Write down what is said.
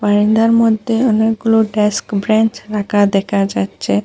বারান্দার মধ্যে অনেকগুলো ডেস্ক ব্রেনচ রাখা দেখা যাচ্ছে।